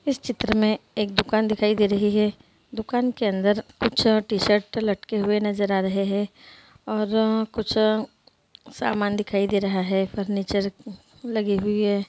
इस चित्र में एक दुकान दिखाई दे रही है दुकान के अंदर कुछ टी-शर्ट लटके हुए नज़र आ रहे है और कुछ सामान दिखाई दे रहा है फर्नीचर लगे हुए है।